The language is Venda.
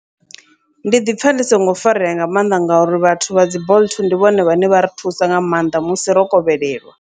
Ndi ḓipfa ndi songo farea nga mannḓa, ngauri vhathu vha dzi bolt ndi vhone vhane vha ri thusa nga maanḓa musi ro kovhelelwa.